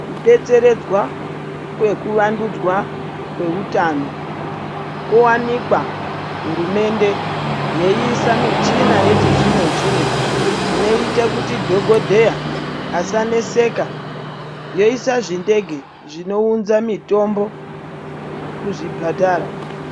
Kudetseredzwa kwekuvandudzwa kweutano kwowanikwa hurumende yeiisa michina yechizvino zvino inoite kuti dhokodheya asaneseka yoisa zvindege zvinounza mitombo kuzvipatara.